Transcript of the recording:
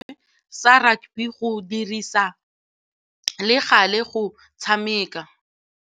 Tebogô o dumeletse setlhopha sa gagwe sa rakabi go dirisa le galê go tshameka.